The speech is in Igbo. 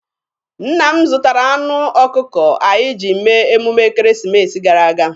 Nna m zụtara anụ ọkụkọ anyị ji mee emume ekeresimesi gara aga.